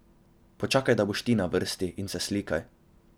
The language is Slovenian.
Počakaj, da boš na vrsti, in se slikaj!